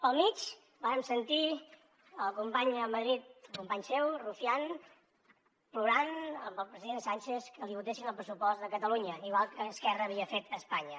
pel mig vàrem sentir el company a madrid company seu rufián plorant amb el president sánchez que li votessin el pressupost de catalunya igual que esquerra havia fet a espanya